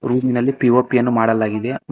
ಊರಿನಲ್ಲಿ ಪಿ_ಒ_ಪಿ ಅನ್ನು ಮಾಡಲಾಗಿದೆ ಮ--